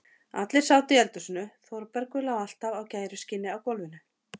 Allir sátu í eldhúsinu, Þórbergur lá alltaf á gæruskinni á gólfinu.